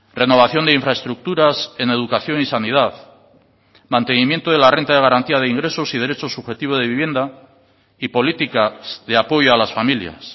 renovación de infraestructuras en educación y sanidad mantenimiento de la renta de garantía de ingresos y derechos subjetivo de vivienda y política de apoyo a las familias